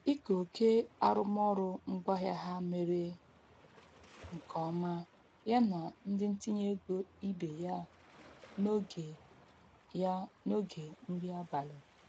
Ike oke arụmaọrụ ngwaahịa ha mere nke ọma ya na ndị ntinye ego ibe ya n'oge ya n'oge nri abalị.